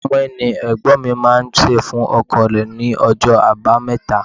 Mọ́í-mọ́í ni Ẹ̀gbọ́n mi máa ń se fún ọkọ̀ rẹ ní ọjọ́ abameta.